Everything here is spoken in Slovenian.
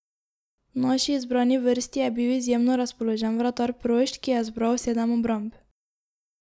V naši izbrani vrsti je bil izjemno razpoložen vratar Prošt, ki je zbral sedem obramb.